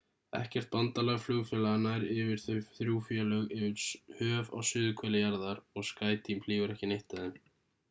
ekkert bandalag flugfélaga nær yfir þau þrjú flug yfir höf á suðurhveli jarðar og skyteam flýgur ekki neitt af þeim